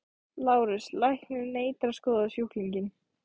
LÁRUS: Læknirinn neitar að skoða sjúklinginn.